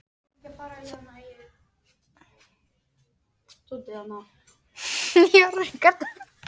Þorkell, hvað er opið lengi í Miðeind?